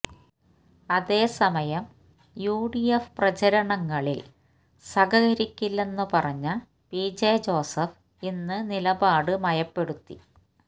അതേസമയം യുഡിഎഫ് പ്രചരണങ്ങളില് സഹകരിക്കില്ലെന്ന് പറഞ്ഞ പിജെ ജോസഫ് ഇന്ന് നിലപാട് മയപ്പെടുത്തി